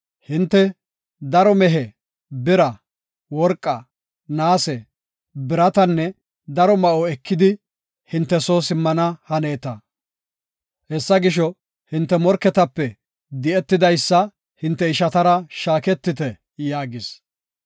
Hinte, “Daro mehe, bira, worqa, naase, biratanne daro ma7o ekidi hinte soo simmana haneeta. Hessa gisho, hinte morketape di77idaysa hinte ishatara shaaketite” yaagis.